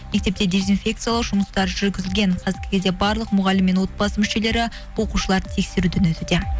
мектепте дизинфекциялау жұмыстары жүргізілген қазіргі кезде барлық мұғалім мен отбасы мүшелері оқушылар тексеруден өтуде